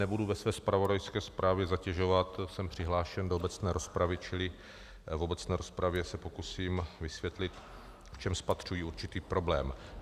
Nebudu ve své zpravodajské zprávě zatěžovat, jsem přihlášen do obecné rozpravy, čili v obecné rozpravě se pokusím vysvětlit, v čem spatřuji určitý problém.